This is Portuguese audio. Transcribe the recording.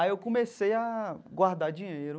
Aí eu comecei a guardar dinheiro.